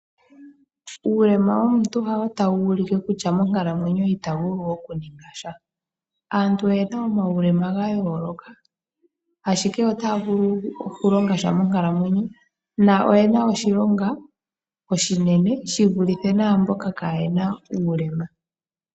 Uulema womuntu ha wo ta wuulike kutya monkalamwenyo ita vulu oku ninga sha. Aantu oyena omaulema ga yooloka, ashike otaya vulu oku longa sha monkalamwenyo na oyena oshilonga oshinene shi vulithe naamboka ka yena uulema.